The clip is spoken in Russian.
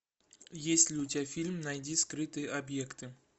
есть ли у тебя фильм найди скрытые объекты